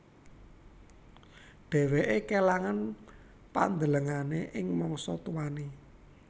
Dheweke kelangan pandelengane ing mangsa tuane